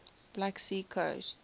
black sea coast